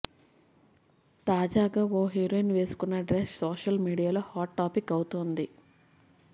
తాజాగా ఓ హీరోయిన్ వేసుకున్న డ్రెస్ సోషల్ మీడియాలో హాట్ టాపిక్ అవుతోంది